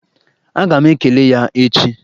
Aga m ekele ya echi.